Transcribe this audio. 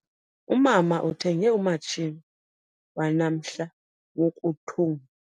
Umama uthenge umatshini wanamhla wokuthunga.